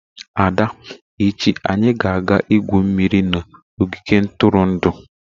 Ada echi anyi ga-aga igwu mmiri n'ogige ntụrụndụ